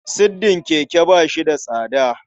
Siddin keke ba shi da tsada.